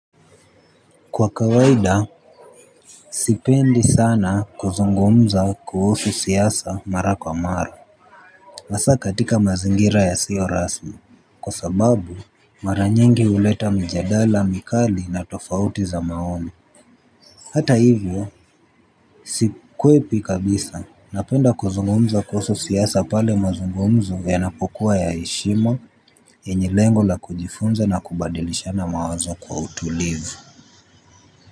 Kwa kawaida, sipendi sana kuzungumza kuhusu siasa mara kwa mara hasa katika mazingira ya siyo rasmi. Kwa sababu, mara nyingi huleta mjadala, mkali na tofauti za maoni. Hata hivyo, sikwepi kabisa, napenda kuzungumza kuhusu siaasa pale mazungumzo yanapo kuwa ya heshima yenye lengo la kujifunza na kubadilishana mawazo kwa utulivu.